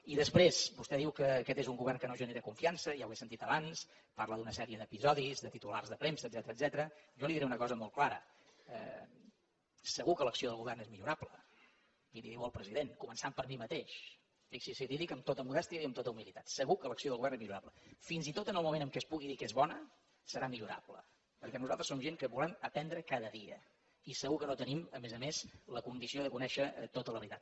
i després vostè diu que aquest és un govern que no genera confiança ja ho he sentit abans parla d’una sèrie d’episodis de titulars de premsa etcètera jo li diré una cosa molt clara segur que l’acció del govern és millorable i li ho diu el president començant per mi mateix fixi’s li ho dic amb tota modèstia i amb tota humilitat segur que l’acció de govern és millorable fins i tot en el moment en què es pugui dir que és bona serà millorable perquè nosaltres som gent que volem aprendre cada dia i segur que no tenim a més a més la condició de conèixer tota la veritat